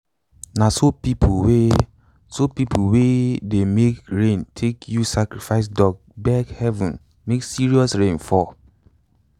na so pipo wey so pipo wey dey make rain take use sacrifice duck beg heaven make serious rain fall.